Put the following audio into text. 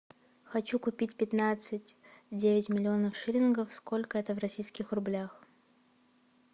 хочу купить пятнадцать девять миллионов шиллингов сколько это в российских рублях